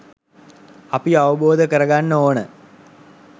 අපි අවබෝධ කරගන්න ඕන.